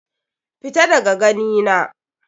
Fita daga gani na.